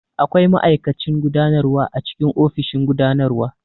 Akwai ma'aikacin gudanarwa a cikin ofishin gudanarwa.